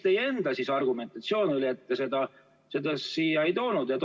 Ja milline oli teie enda argumentatsioon, et te seda siia ei toonud?